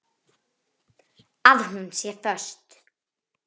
Að hún sé föst.